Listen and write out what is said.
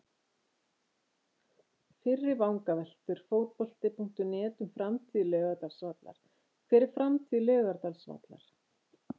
Fyrri vangaveltur Fótbolti.net um framtíð Laugardalsvallar: Hver er framtíð Laugardalsvallar?